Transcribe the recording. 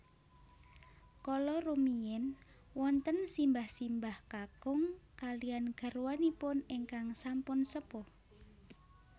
Kala rumiyin wonten simbah simbah kakung kalihan garwanipun ingkang sampun sepuh